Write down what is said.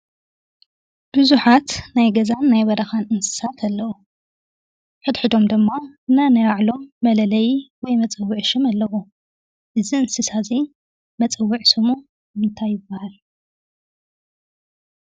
ብዙሓት ናይ ገዛን ናይ በረኻን እንስሳት ኣለው። ሕድሕዶም ድማ ነናይ ባዕሎም መለልዪ ወይ መፅውዒ ሽም ኣለዎም። እዚ እንስሳ እዚ መፅውዒ ሽሙ እንታይ ይበሃል?